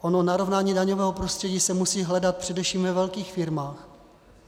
Ono narovnání daňového prostředí se musí hledat především ve velkých firmách.